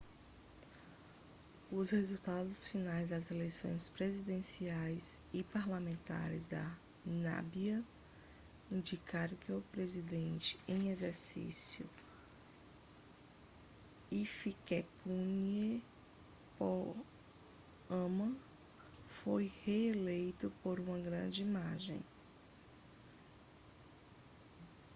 os resultados finais das eleições presidenciais e parlamentares da namíbia indicaram que o presidente em exercício hifikepunye pohamba foi reeleito por uma grande margem